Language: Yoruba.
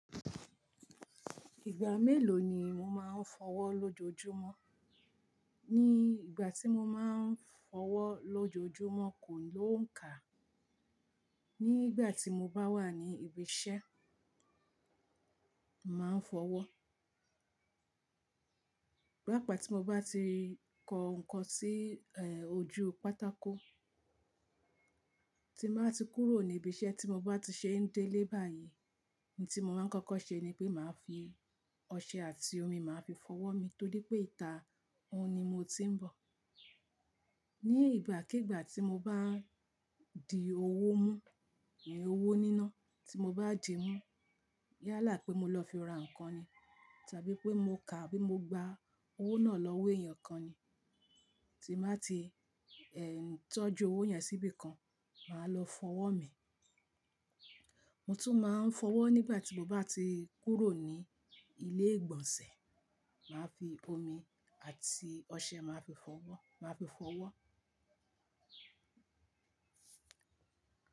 Ìgbà mélòó ni mo máa ń fọwọ́ lójoojúmọ́? Ní ìgbà tí mo máa ń fọwọ́ lójoojúmọ́ kò ló ń kà. Nígbà tí mo bá wà ní ibi iṣẹ́, màá ń fọwọ́. Bí àpá tí mo bá ti kó nǹkan sí, ojú pátákó, tí màá ti kúrò ní ibi iṣẹ́ tí mo bá ti ṣe ń délé báyìí, ohun tí mo máa ń kọ́kọ́ ṣe ni pé màá fi ọṣẹ àti omi, màá fi fọwọ́ mi nítorí pé ìta òun ni mo ti ń bọ̀. Ní ìgbàkígbà tí mo bá di owó mú, owó níná tí mo bá dì mú yálà pé mo lọ fi ra nǹkan ni tàbí pé mo kà bí mo gba owó náà lọ wé èèyàn kan ni. Tí màá ti, tọ́jú owó yẹn síbí kan, màá lọ fọwọ́ mi. Mo tún máa ń fọwọ́ nígbà tí mo bá ti kúrò ní ilé-ìgbọ̀nsẹ̀, màá fi omi àti ọṣẹ màá fi fọwọ́, màá fi fọwọ́